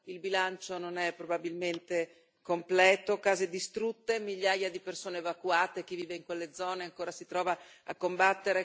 Perdita di vite umane ancora il bilancio non è probabilmente completo case distrutte e migliaia di persone evacuate.